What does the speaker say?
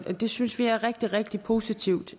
det synes vi er rigtig rigtig positivt